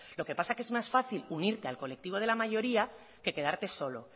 lo que pasa que es más fácil unirte al colectivo de la mayoría que quedarte solo